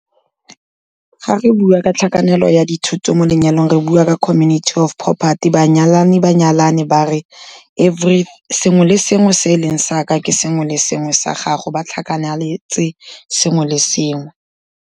Ga re bua ka tlhakanelo ya dithoto mo lenyalong, re bua ka community of property, banyalani ba nyalane ba re sengwe le sengwe se e leng saka ke sengwe le sengwe sa gago, ba tlhakaneletse sengwe le sengwe.